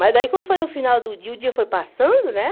Mas daí, como foi no final do dia, o dia foi passando, né?